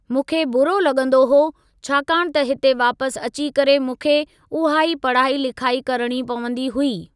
मूंखे ॿुरो लॻंदो हो, छाकाणि त हिते वापसि अची करे मूंखे उहा ई पढ़ाई लिखाई करणी पवंदी हुई।